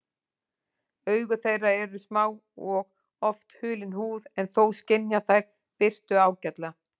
Augu þeirra eru smá og oft hulin húð en þó skynja þær birtu ágætlega.